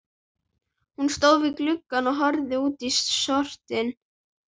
Hún stóð við gluggann og horfði út í sortann.